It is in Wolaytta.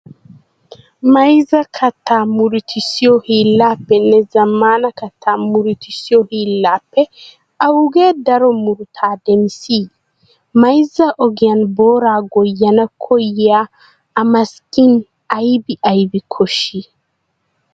Mayzza kattaa murutissiyo hiillaappenne zammaana kattaa murutossiyo hiillaappe awugee daro murutaa demissii? Mayzza ogiyan booraa goyyana koyyiya amassing aybi aybi koshshii?